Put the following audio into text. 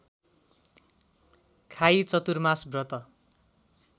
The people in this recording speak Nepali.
खाई चतुर्मास व्रत